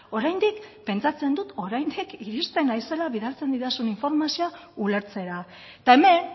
oraindik pentsatzen dut oraindik iristen naizela bidaltzen didazun informazioa ulertzera eta hemen